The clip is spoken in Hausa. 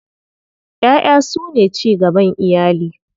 Ƴaƴa su ne cigaban iyali.